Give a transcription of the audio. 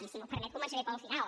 i si m’ho permet començaré pel final